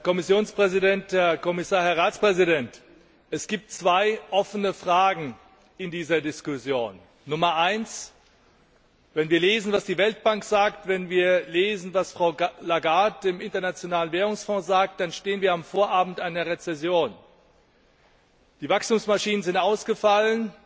Herr Präsident, Herr Kommissionspräsident, Herr Kommissar, Herr Ratspräsident! Es gibt zwei offene Fragen in dieser Diskussion. Erstens Wenn wir lesen, was die Weltbank sagt, wenn wir lesen, was Frau Lagarde im Internationalen Währungsfonds sagt, dann stehen wir am Vorabend einer Rezession. Die Wachstumsmaschinen sind ausgefallen.